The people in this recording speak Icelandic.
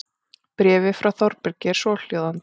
Bréfið frá Þórbergi er svohljóðandi